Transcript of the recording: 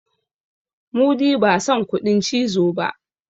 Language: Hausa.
mudi ba San kuɗin cizo ba